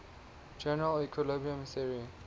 general equilibrium theory